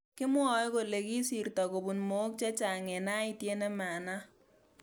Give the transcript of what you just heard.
Kimwoe kole kisirto kobun mook chechang eng aityet nemanaak